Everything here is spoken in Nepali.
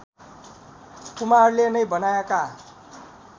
कुमारले नै बनाएका